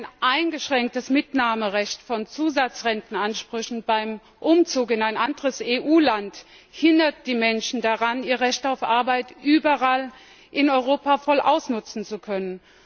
Denn ein eingeschränktes Mitnahmerecht von Zusatzrentenansprüchen beim Umzug in anderes EU Land hindert die Menschen daran, ihr Recht auf Arbeit überall in Europa voll ausnutzen zu können.